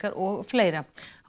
og fleira þá